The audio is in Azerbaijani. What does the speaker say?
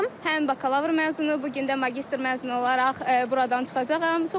Həm bakalavr məzunu, bu gün də magistr məzunu olaraq buradan çıxacağam.